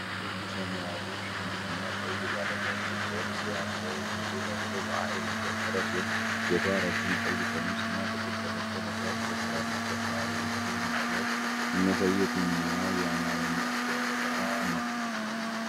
ወንዱ ሰማያዊ ሸሚዝ እና ቀይ ባለ ካሬ ቅርጽ ያለው ሱሪ ለብሶ በኃይል እየጨፈረ ሲሆን፤ ሴቷ ረጅም ቀይ ቀሚስ እና ጥቁር ቀበቶ ለብሳ ትጨፍራለች። ጨፋሪዎቹ በምስሉ ላይ የሚያሳዩት የትኛው የአማርኛ ጨዋታ ነው?